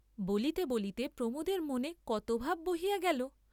বলিতে বলিতে প্রমোদের মনে কত ভাব বহিয়া গেল।